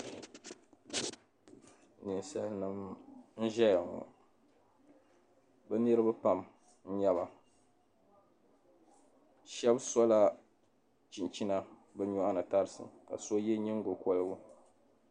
Ninsalinima n-ʒeya ŋɔ be niriba pam n-nyɛba shɛba sola chinchina be nyuɣani tarisi ka so ye nyingo koligu.